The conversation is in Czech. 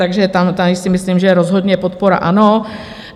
Takže tady si myslím, že rozhodně podpora ano.